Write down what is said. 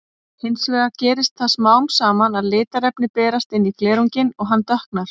Hins vegar gerist það smám saman að litarefni berast inn í glerunginn og hann dökknar.